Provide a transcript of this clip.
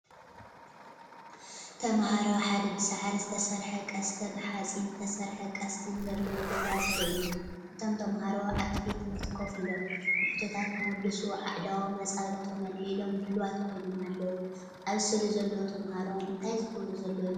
ተማሃሮ ኣብ ሓደ ብሳዕሪ ዝተሰርሐ ቀስት ብሓጺን ዝተሰርሐ ቀስትን ዘለዎ ገዛ ዘርኢ እዩ። እቶም ተማሃሮ ኣብቲ ቤት ትምህርቲ ኮፍ ኢሎም፡ ንሕቶታት ክምልሱ ኣእዳዎምን ኣጻብዕቶምን ኣልዒሎም ድሉዋት ኮይኖም ኣለዉ። ኣብዚ ስእሊ ዘለዉ ተምሃሮ እንታይ ዝገብሩ ዘለዉ ይመስለኩም?